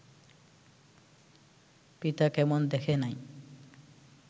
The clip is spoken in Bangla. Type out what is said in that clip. পিতা কেমন দেখে নাই